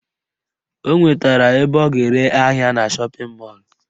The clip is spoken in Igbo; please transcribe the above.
O nwetara ebe ọ ga-ere ahịa ya na shọpịn mọlụ